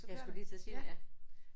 Jeg skulle lige til at sige det ja